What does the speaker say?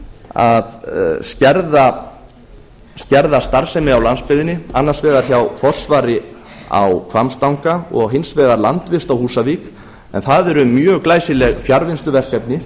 að skerða starfsemi á landsbyggðinni annars vegar hjá forsvari á hvammstanga og hins vegar landvist á húsavík en það eru mjög glæsileg fjarvinnsluverkefni